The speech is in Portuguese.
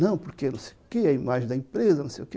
Não, porque não sei o que, a imagem da empresa, não sei o que.